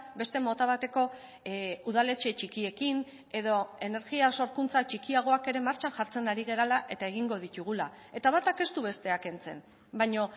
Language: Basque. beste mota bateko udaletxe txikiekin edo energia sorkuntza txikiagoak ere martxan jartzen ari garela eta egingo ditugula eta batak ez du bestea kentzen baina